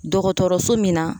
Dɔgɔtɔrɔso min na